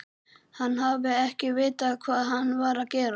Hann hafi ekki vitað hvað hann var að gera.